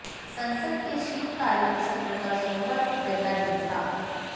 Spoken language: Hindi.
संसद के शीतकालीन सत्र का सोमवार को पहला दिन था